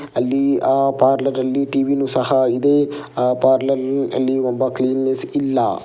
ಅಲ್ಲಿ ಆ ಪಾರ್ಲರ್ ಅಲ್ಲಿ ಟಿ_ವಿ ನೂ ಸಹ ಇದೆ. ಆ ಪಾರ್ಲರ್ ಅಲ್ಲಿ ಒಬ್ಬ ಕ್ಲೀನ್ ನೆಸ್ ಇಲ್ಲ.